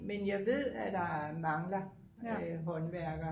men jeg ved at der mangler håndværkere